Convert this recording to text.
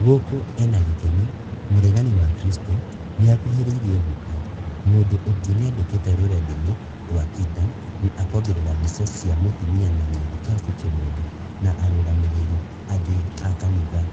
"gũkũ ena gĩkeno, mũregani wa Kristo nĩakuhĩrĩirie gũka," mũndũ ũngĩ nĩandĩkĩte rũrenda-iniĩ rwa Twitter na akongerera mbica cia mũtumia na mũthikabu Kimondo na arũgamĩrĩri angĩ a kanitha